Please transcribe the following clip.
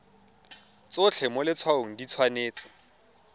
tsotlhe mo letshwaong di tshwanetse